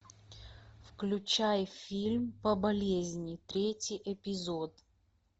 включай фильм по болезни третий эпизод